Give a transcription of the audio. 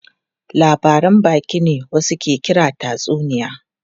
Labaran baki ne wasu ke kira tatsuniya.